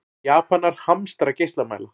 Japanar hamstra geislamæla